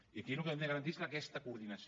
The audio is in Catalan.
i aquí el que hem de garantir és aquesta coordinació